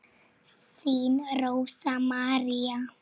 Þín Rósa María.